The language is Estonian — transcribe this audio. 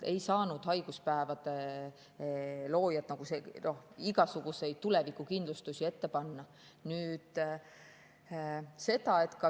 Haiguspäevade loojad ei saanud igasuguseid tulevikukindlustusi ette.